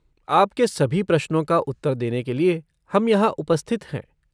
आपके सभी प्रश्नों का उत्तर देने के लिए हम यहाँ उपस्थित हैं।